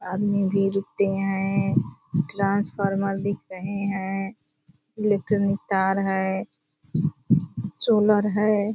आदमी भी दिखते हैं ट्रांसफार्मर दिख रहे हैं लेकिन तार है सोलर है।